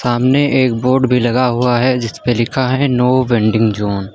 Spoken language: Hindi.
सामने एक बोर्ड भी लगा हुआ है जिस पे लिखा है नो वेंडिंग जोन ।